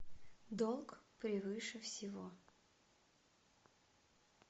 долг превыше всего